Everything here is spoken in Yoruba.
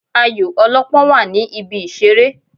Ayò ọlọ́pọ́n wà ní ibi ìṣeré.